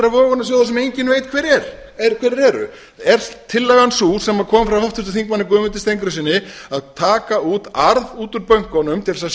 vogunarsjóða sem engin veit hverjir eru er tillagan sú sem kom frá háttvirtum þingmanni guðmundi steingrímssyni að taka arð út úr bönkunum til að